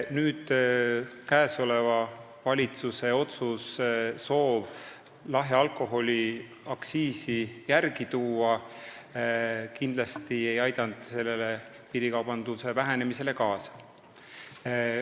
Käesoleva valitsuse soov lahja alkoholi aktsiisi järele tuua kindlasti ei aidanud piirikaubanduse vähenemisele kaasa.